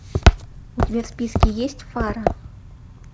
у тебя в списке есть фара